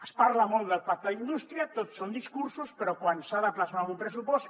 es parla molt del pacte d’indústria tot són discursos però quan s’ha de plasmar en un pressupost